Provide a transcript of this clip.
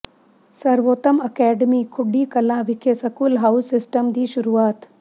ਸਰਵੋਤਮ ਅਕੈਡਮੀ ਖੁੱਡੀ ਕਲਾਂ ਵਿਖੇ school house system ਦੀ ਸ਼ੁਰੂਆਤ